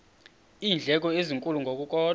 iindleko ezinkulu ngokukodwa